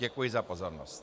Děkuji za pozornost.